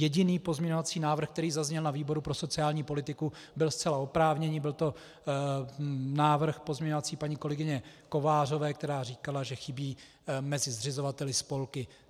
Jediný pozměňovací návrh, který zazněl na výboru pro sociální politiku, byl zcela oprávněný, byl to návrh pozměňovací paní kolegyně Kovářové, která říkala, že chybí mezi zřizovateli spolky.